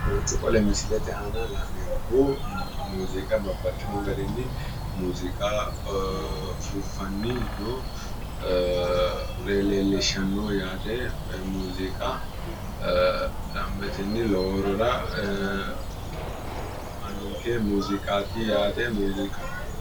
kowiicho qole misilete aana la'neemmohu muuziiqa babbaxino garinni muuziiqa ufuuffanni nore leellishshanno yaate koye muuziiqa danbetenni lowo horo aannonke muziiqati yaate muuziiqu.